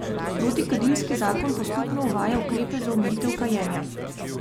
Protikadilski zakon postopno uvaja ukrepe za omejitev kajenja.